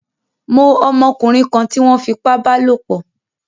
Mó ọmọkúnrin kan tí wón fipá bálòpò